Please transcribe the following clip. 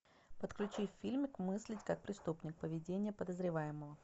подключи фильм мыслить как преступник поведение подозреваемого